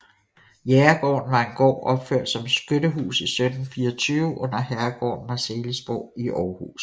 Jægergården var en gård opført som skyttehus i 1724 under herregården Marselisborg i Aarhus